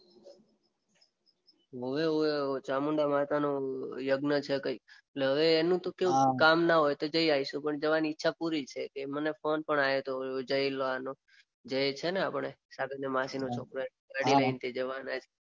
ઓવે ચામુંડામાતાનું યગ્ન છે કઈક. હવે એનું તો કઈક કામ ના હોય તો જઈ આવીશું. પણ જવાની ઈચ્છા પુરી છે. તે મને ફોન પણ આયો તો જયલાનો. જય છે ને આપડે માસીનો છોકરો.